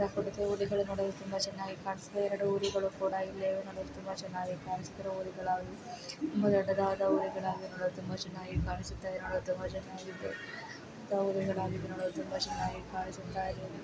ಹಾಕೊಂಡಿದೆ ಹುಲಿಗಳು ನೋಡಲು ತುಂಬಾ ಚನ್ನಾಗಿ ಕಾಣಿಸುತ್ತೆ ಎರೆಡು ಹುಲಿಗಳು ಕೂಡ ಇಲ್ಲೆ ಇವೆ ನೋಡಲು ತುಂಬಾ ಚನ್ನಾಗಿ ಕಾಣಿಸುತ್ತಿರುವ ಹುಲಿಗಳಾಗಿ ತುಂಬಾ ದೊಡ್ಡದಾದ ಹುಲಿಗಳಾಗಿ ನೋಡಲು ತುಂಬಾ ಚನ್ನಾಗಿ ಕಾಣಿಸುತ್ತಾಯ್ದೆ ನೋಡಲು ತುಂಬಾ ಚನ್ನಗಿದ್ದು ತುಂಬಾ ಚನ್ನಾಗಿ ಕಾಣಿಸುತ್ತಾಯ್ದೆ